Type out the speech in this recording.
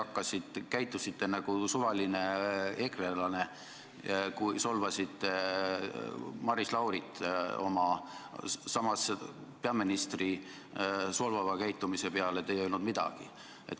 Te käitusite nagu suvaline ekrelane, kui solvasite Maris Laurit, samas peaministri solvava käitumise peale te ei öelnud midagi.